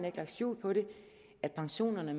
ikke lagt skjul på det at pensionerne